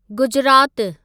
गुजरातु